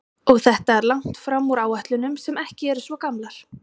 Og þetta er langt fram úr áætlunum sem ekki eru svo gamlar?